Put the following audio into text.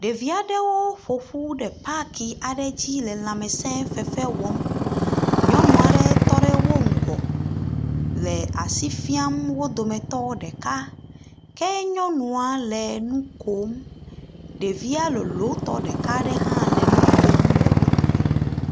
Ɖevi aɖewo ƒo ƒu ɖe paki aɖe dzi le lãmesẽ fefe wɔm. Nyɔnu aɖe tɔ ɖe wo ŋgɔ le asi fiam wo dometɔ ɖeka ke nyɔnua le nu kom. Ɖevia lolotɔ ɖeka aɖe hã le nu kom le wo dome.